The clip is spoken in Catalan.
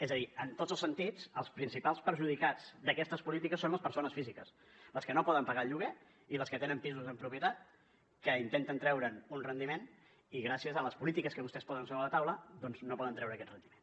és a dir en tots els sentits els principals perjudicats d’aquestes polítiques són les persones físiques les que no poden pagar el lloguer i les que tenen pisos en propietat que intenten treure’n un rendiment i gràcies a les polítiques que vostès posen sobre la taula doncs no poden treure aquest rendiment